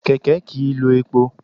Kèkè kì í lo epo